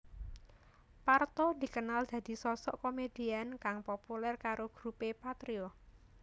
Parto dikenal dadi sosok komedian kang populer karo grupé Patrio